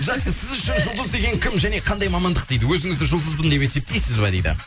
жақсы сіз үшін жұлдыз деген кім және қандай мамандық дейді өзіңізді жұлдызбын деп есептейсіз ба дейді